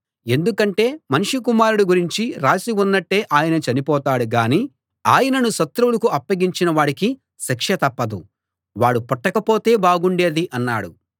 ఎందుకంటే మనుష్య కుమారుడి గురించి రాసి ఉన్నట్టే ఆయన చనిపోతాడు గాని ఆయనను శత్రువులకు అప్పగించిన వాడికి శిక్ష తప్పదు వాడు పుట్టకపోతే బాగుండేది అన్నాడు